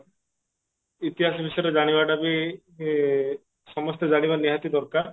ଇତିହାସ ବିଷୟରେ ଜାଣିବାଟା ବି ଏ ସମସ୍ତେ ଜାଣିବା ନିହାତି ଦରକାର